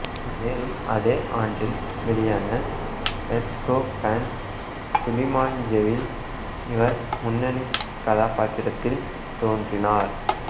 மேலும் அதே ஆண்டில் வெளியான லெஸ் கோபேன்ஸ் டு டிமாஞ்சேவில் இவர் முன்னணிக் கதாப்பாத்திரத்தில் தோன்றினார்